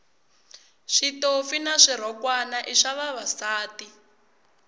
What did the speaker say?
switofi na swirhokwana i swa vavasati